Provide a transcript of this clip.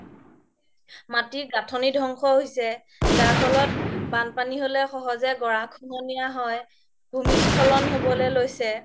মাতিৰ গাথনি ধ্বংস হৈছে যাৰ ফল্ত বানপানি হ্'লে সহজে গৰাখহনীয়া হয় ভূমিস্খলন হ'ব লে লৈছে